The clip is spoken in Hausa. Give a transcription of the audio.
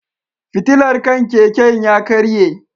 Fitilar kan keken ya karye.